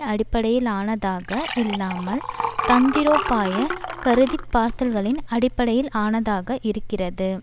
அடிப்படையிலானதாக இல்லாமல் தந்திரோபாய கருதிப்பார்த்தல்களின் அடிப்படையிலானதாக இருக்கிறது